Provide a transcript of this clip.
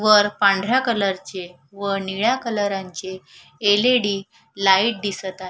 वर पांढऱ्या कलरचे व निळ्या कलरांचे एल.ई.डी. लाईट दिसत आ--